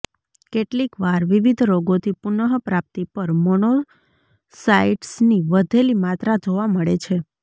કેટલીકવાર વિવિધ રોગોથી પુનઃપ્રાપ્તિ પર મોનોસાયટ્સની વધેલી માત્રા જોવા મળે છે